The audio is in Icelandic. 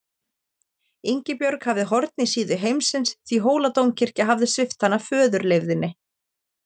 Ingibjörg hafði horn í síðu heimsins því Hóladómkirkja hafði svipt hana föðurleifðinni.